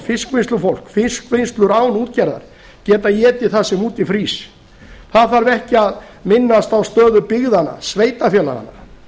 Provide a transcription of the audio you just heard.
fiskvinnslufólk og fiskvinnslur án útgerðar geta étið það sem úti frýs það þarf ekki að minnast á stöðu byggðanna sveitarfélaganna